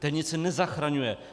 Ten nic nezachraňuje!